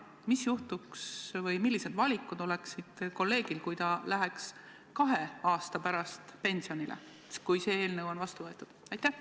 Mis juhtuks või millised valikud oleksid kolleegil, kui ta läheks kahe aasta pärast pensionile, kui see eelnõu on vastu võetud?